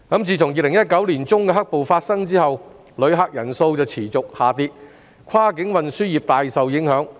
自2019年年中的"黑暴"事件發生後，旅客人數持續下跌，跨境運輸業大受影響。